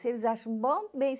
Se eles acham bom, bem.